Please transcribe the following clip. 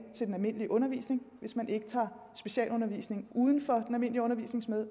til den almindelige undervisning hvis man ikke tager specialundervisningen uden for den almindelige undervisning